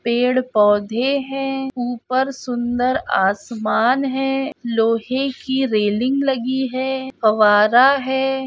पेड़-पौधे हैं ऊपर सुंदर आसमान है लोहे की रेलिंग लगी है फव्वारा है।